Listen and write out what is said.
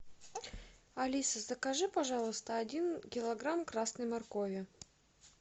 алиса закажи пожалуйста один килограмм красной моркови